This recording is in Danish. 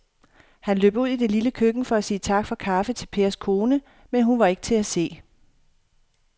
Han løb ud i det lille køkken for at sige tak for kaffe til Pers kone, men hun var ikke til at se.